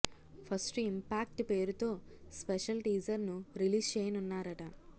first impact పేరుతో special teaser ను release చేయనున్నారట